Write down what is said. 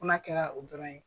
Fo na kɛra o dɔrɔn ye.